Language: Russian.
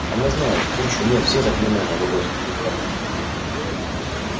она знает кучу нет все заклинания гордо воскликнул хагрид